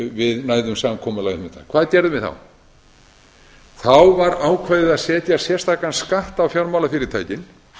við næðum samkomulagi um þetta hvað gerðum við þá þá var ákveðið að setja sérstakan skatt á fjármálafyrirtækin